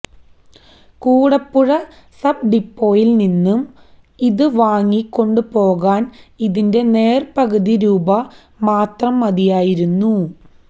Koodapuzha sub ഡിപ്പോയില് നിന്നും ഇത് വാങ്ങി കൊണ്ടുപോകാന് ഇതിന്റെ നേര്പകുതി രൂപ മാത്രം മതിയായിരുന്നൂ